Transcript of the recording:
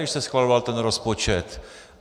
Když se schvaloval ten rozpočet.